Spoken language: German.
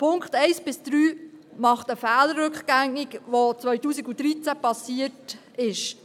Die Punkte 1–3 machen einen Fehler rückgängig, der 2013 passiert ist.